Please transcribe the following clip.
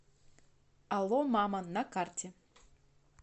алло мама на карте